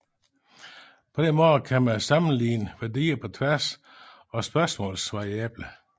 På denne måde kan man sammenligne værdier på tværs af spørgsmålsvariable